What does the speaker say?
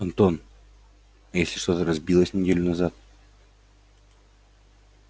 антон а если что-то разбилось неделю назад